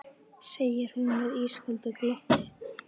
segir hún með ísköldu glotti.